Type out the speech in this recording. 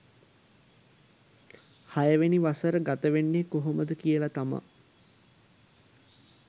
හයවෙනි වසර ගත වෙන්නේ කොහොමද කියලා තමා